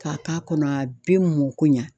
K'a k'a kɔnɔ a bi mɔ ko ɲa